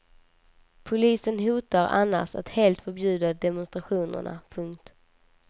Polisen hotar annars att helt förbjuda demonstrationerna. punkt